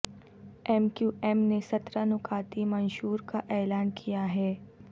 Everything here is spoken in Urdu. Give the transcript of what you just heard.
ایم کیو ایم نے سترہ نکاتی منشور کا اعلان کیا ہے